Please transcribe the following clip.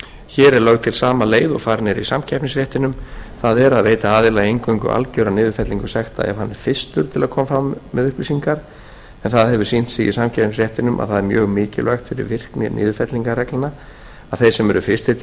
hér er lögð til sama leið og farin er í samkeppnisréttinum það er að veita aðila eingöngu algjöra niðurfellingu sekta ef hann er fyrstur til að koma fram með upplýsingar en það hefur sýnt sig í samkeppnisréttinum að það er mjög mikilvægt fyrir virkni niðurfellingarreglna að þeir sem eru fyrstir til